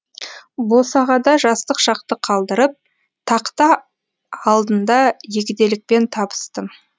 босағада жастық шақты қалдырып тақта алдында егделікпен табыстым